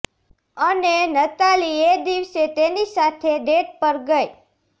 અને નતાલી એ દિવસે તેની સાથે ડેટ પર ગઈ